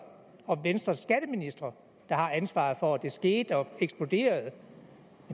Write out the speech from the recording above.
og venstres skatteministre der har ansvaret for at det skete og er eksploderet